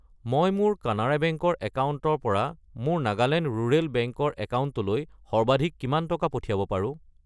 মই মোৰ কানাড়া বেংক ৰ একাউণ্টৰ পৰা মোৰ নাগালেণ্ড ৰুৰেল বেংক ৰ একাউণ্টলৈ সৰ্বাধিক কিমান টকা পঠিয়াব পাৰো?